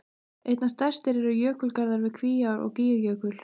Einna stærstir eru jökulgarðar við Kvíár- og Gígjökul.